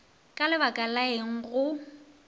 ka lebaka la eng go